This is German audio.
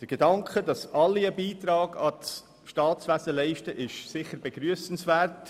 Der Gedanke, dass alle einen Beitrag ans Staatswesen leisten sollen, ist sicher begrüssenswert.